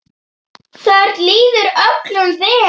Þar líður öllum vel.